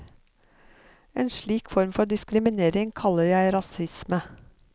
En slik form for diskriminering kaller jeg rasisme.